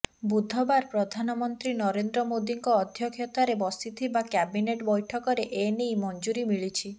ବୁଧବାର ପ୍ରଧାନମନ୍ତ୍ରୀ ନରେନ୍ଦ୍ର ମୋଦିଙ୍କ ଅଧ୍ୟକ୍ଷତାରେ ବସିଥିବା କ୍ୟାବିନେଟ ବୈଠକରେ ଏନେଇ ମଞ୍ଜୁରୀ ମିଳିଛି